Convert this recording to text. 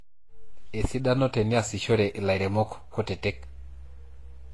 esidano teniasishore ilairemok kutitik